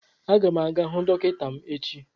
A ga m aga hụ dọkịta m echi